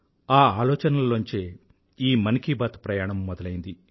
ఆ ఆలోచనలోంచే ఈ మన్ కీ బాత్ ప్రయాణం మొదలైంది